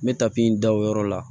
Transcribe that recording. N bɛ tapi in da o yɔrɔ la